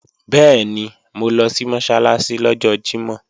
Bẹ́ẹ̀ni, mo lọ sí Mọ́sálásí lọ́jọ́ Jímọ̀